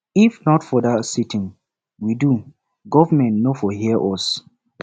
if not for dat sitin we do government no for hear us